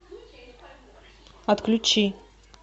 отключи